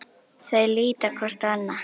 Þau líta hvort á annað.